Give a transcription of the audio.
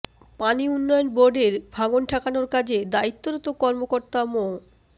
পানি উন্নয়ন বোর্ডের ভাঙন ঠেকানোর কাজে দায়িত্বরত কর্মকর্তা মো